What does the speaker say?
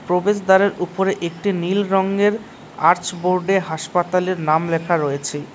প্রবেশদ্বারের উপরে একটি নীল রঙের আর্চ বোর্ডে হাসপাতালের নাম লেখা রয়েছে।